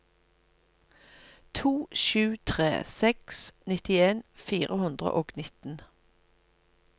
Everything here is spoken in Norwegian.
to sju tre seks nittien fire hundre og nitten